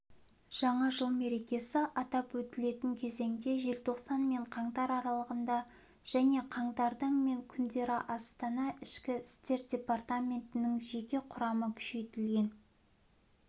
жаңа жыл мерекесі атап өтілетін кезеңде желтоқсан мен қаңтар аралығында және қаңтардың мен күндері астана ішкі істер департаментінің жеке құрамы күшейтілген